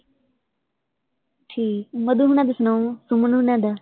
ਠੀਕ, ਮਧੂ ਹੋਣਾ ਦਾ ਸੁਣਾਓ, ਅਮਨ ਹੋਣਾ ਦਾ?